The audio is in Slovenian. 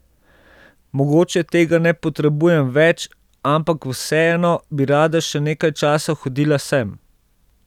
Mogoče tega ne potrebujem več, ampak vseeno bi rada še nekaj časa hodila sem.